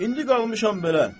İndi qalmışam belə.